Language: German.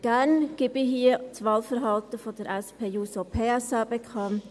Gerne gebe ich hier das Wahlverhalten der SP-JUSO-PSA-Fraktion bekannt.